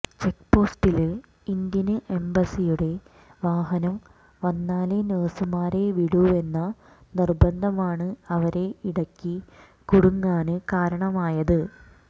ചെക്ക്പോസ്റ്റില് Indian എംബസിയുടെ വാഹനം വന്നാലെ നഴ്സുമാരെ വിടൂവെന്ന നിര്ബന്ധമാണ് അവര് ഇടയ്ക്ക് കുടുങ്ങാന് കാരണമായത്